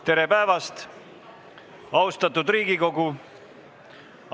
Tere päevast, austatud Riigikogu!